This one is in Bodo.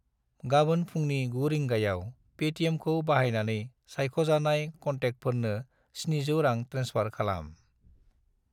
गाबोन फुंनि 9 रिंगायाव पेटिएमखौ बाहायनानै सायख'जानाय क'नटेक्टफोरनो 700 रां ट्रेन्सफार खालाम।